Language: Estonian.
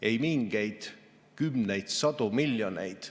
Ei mingeid kümneid või sadu miljoneid.